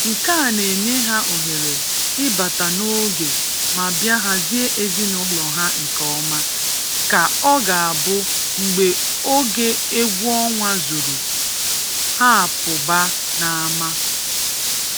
nke a na-enye ha ohere ị bata n’oge ma bịa hazie ezinụlọ ha nke ọma ka ọ ga-abụ mgbe oge egwu ọnwa zuru, ha a pụba n’ama.